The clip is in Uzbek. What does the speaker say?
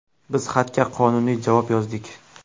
Biz xatga qonuniy javob yozdik.